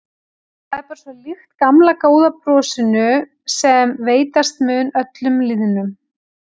Það er bara svo líkt gamla góða brosinu sem veitast mun öllum lýðnum.